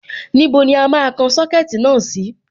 Níbo ni a máa kan Sọ́kẹ̀tì náà sí?